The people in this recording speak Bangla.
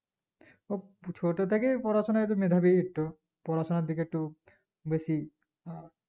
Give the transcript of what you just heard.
ও ছোট থেকেই পড়াশোনায়ই মেধাবী একটু পড়াশোনার দিকে একটু বেশি আহ